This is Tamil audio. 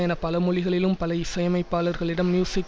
என பல மொழிகளிலும் பல இசையமைப்பாளர்களிடம் மியூசிக்